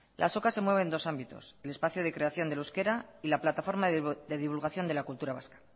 la azoka se mueve en dos ámbitos el espacio de creación del euskera y la plataforma de divulgación de la cultura vasca